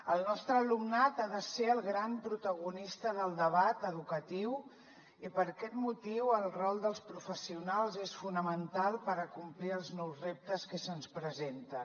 el nostre alumnat ha de ser el gran protagonista del debat educatiu i per aquest motiu el rol dels professionals és fonamental per acomplir els nous reptes que se’ns presenten